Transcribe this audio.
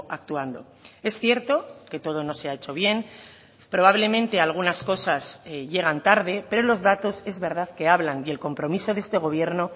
actuando es cierto que todo no se ha hecho bien probablemente algunas cosas llegan tarde pero los datos es verdad que hablan y el compromiso de este gobierno